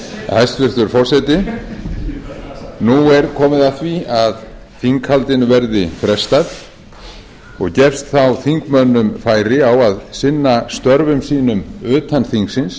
hæstvirtur forseti nú er komið að því að þinghaldinu verði frestað og gefst þá þingmönnum færi á að sinna störfum sínum utan þingsins